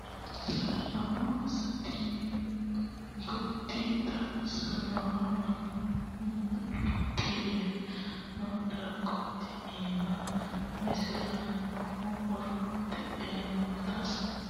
Lamu sase timo doogoti xaadinowa mannu mucuqi yee no doogote iima millisanohu horo tae nootera uduuncho samote duqe noo daimi rahe rahe naffi asse qaafani no gari baxisinoe.